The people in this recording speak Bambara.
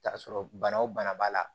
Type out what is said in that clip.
Taa sɔrɔ bana o bana b'a la